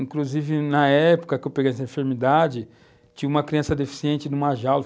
Inclusive, na época que eu peguei essa enfermidade, tinha uma criança deficiente numa jaula.